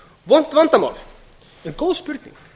vont vandamál en góð spurning